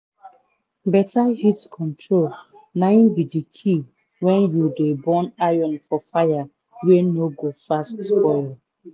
beta heat control na im be d key wen u dey burn iron for fire wey no go fast spoil.